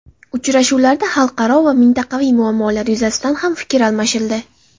Uchrashuvlarda xalqaro va mintaqaviy muammolar yuzasidan ham fikr almashildi.